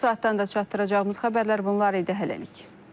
Bu saatdan da çatdıracağımız xəbərlər bunlar idi. Hələlik.